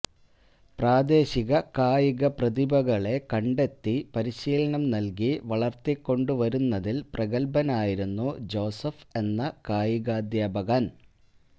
പ്രാദേശിക കായിക പ്രതിഭകളെ കണ്ടെത്തി പരിശീലനം നല്കി വളര്ത്തിക്കൊണ്ടുവരുന്നതില് പ്രഗല്ഭനായിരുന്നു ജോസഫ് എന്ന കായികാധ്യാപകന്